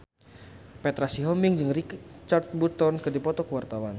Petra Sihombing jeung Richard Burton keur dipoto ku wartawan